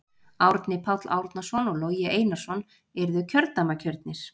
Árni Páll Árnason og Logi Einarsson yrðu kjördæmakjörnir.